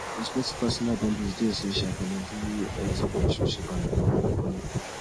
respecting personal boundaries dey essential for maintaining healthy relationships and avoiding burnout